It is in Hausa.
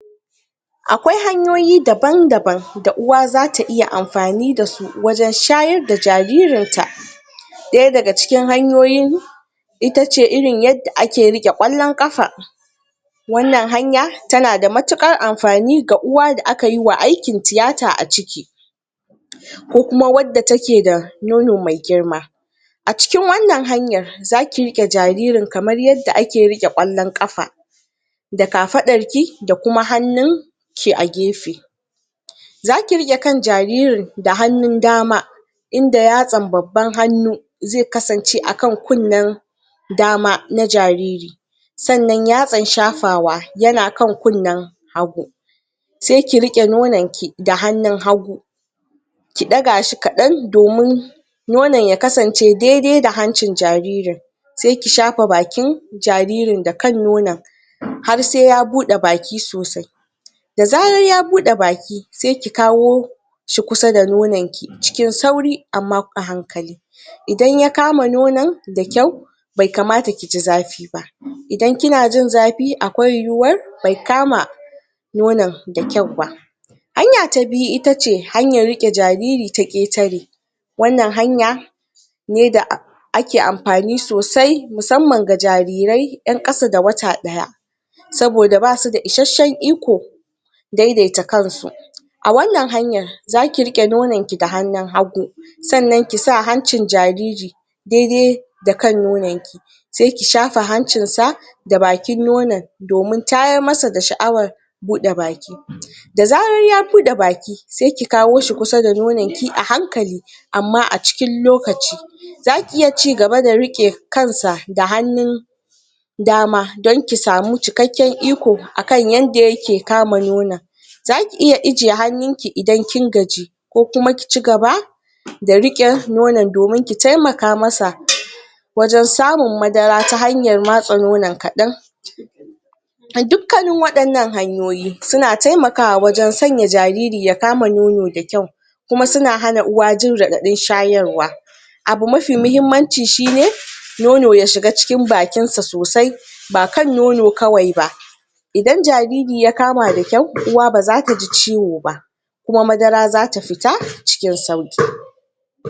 akwai hanyoyi daban daban da uwa zata iya amfani da su wajen shayar da jaririn ta daya daga cikin hanyoyin itace yacce ake rike kallon kafa wannan hanya tana da matukar amfani ga uwa da akayiwa aiki tiyata a ciki ko kuma wanda take da nono mai girma acikin wannan hanyar zaki rike jaririn kamar yadda ake rike kallon kafa da kafarki da kuma hannunki a gefe zaki rike kan jaririn da hannun dama inda yatsan babban hannu zai kasance akan kennen dama na jariri sannan yatsan shafawa yana kunnen hagu sai ki rike nononki da hannun gu ki dagashi kadan domin nonon ya kasan ce dai dai da hancin jaririn saiki safa kan bakin jaririn da kan nonon har sai ya bude baki sosai da zarar ya bude baki saiki kawo shi kusa da nono ki cikin sauri amma kuma a hankali idan ya kama nonon da kyau bai kamata kiji zafi ba idan kina jin zafi akwai yiwuwar bai kama nonon da kyau ba hanya ta biyu itace rike jariri ta ketare wannan hanya ne da ake amfani sosai musamman da jarirai yan kasa da wata daya saboda basu da isashen iko daidaita kansu a wannan hanyar zaki riqe nonon ki da hannun hagu sannan kisa hancin jariri daidai da kan nono sai ki shafa hancin sa da bakin nonon domin tayar masa sha'awar buda baki da zarar ya bude baki sai ki kawo shi kusa da nononki a hankali amma acikin lokaci zaki iya cigaba da rike kansa da hannu dama, don ki samu cikkaken dama akan yanda yake kama nono zaki iya ajiye hannunki idan kin gaji ko kuma kici gaba da rike nonon domin ki temaka masa ta hanyar samun madara ta hanyar matsa nonon kadan duma dukanin wannan hayoyi suna temakawa wajen sanya jariri yakama nono da kyau kuma yana hana uwa jin radadin shayar wa abu mafi muhimmanci shine nono ya shiga cikin bakin sosai ba kan nono kawai ba idan jariri ya kama da kyau uwa baza taji ciwo ba kuma madara zata fita cikin sauki